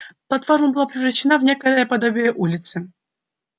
платформа была превращена в некое подобие улицы